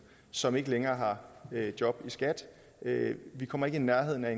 som ikke længere har job i skat vi kommer ikke i nærheden af